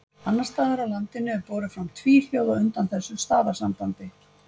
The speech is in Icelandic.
annars staðar á landinu er borið fram tvíhljóð á undan þessu stafasambandi